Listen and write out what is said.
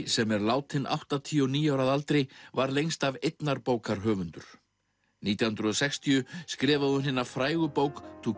sem er látin áttatíu og níu ára að aldri var lengst af einnar bókar höfundur nítján hundruð og sextíu skrifaði hún hina frægu bók to